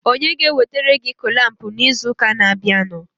onye ga-ewetere gị kụlampụ n'izuụka na-abịanụ?